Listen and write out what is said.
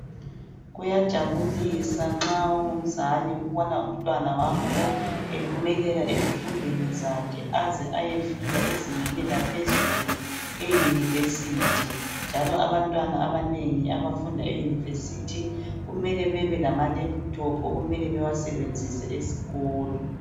Kuyajabulisa nxa ungumzali ukubona umntwana wakho ephumelela ezifundweni zakhe aze ayefika ezingeni laphezulu e university, njalo abantwana abanengi abafunda e university kumele bebelama laptop okumele bewasebenzise esikolo